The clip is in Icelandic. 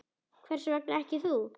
Hvers vegna ekki þú?